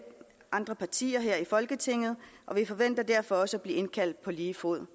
andre partier her i folketinget og vi forventer derfor også at blive indkaldt på lige fod